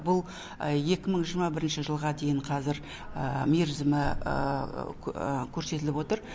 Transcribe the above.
бұл екі мың жиырма бірінші жылға дейін қазір мерзімі көрсетіліп отыр